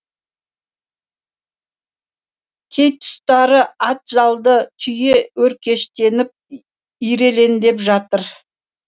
кей тұстары ат жалды түйе өркештеніп ирелендеп жатыр